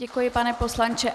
Děkuji, pane poslanče.